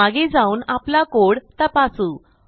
मागे जाऊन आपला कोड तपासू